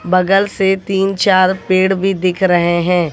बगल से तीन चार पेड़ भी दिख रहे हैं।